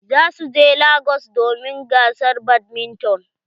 Za su je lagos domin gasar badminton.